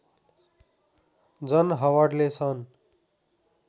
जन हवर्डले सन्